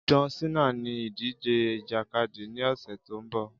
John cena ní ìdíje ìjàkadì ní ọ̀sẹ̀ tó mbọ̀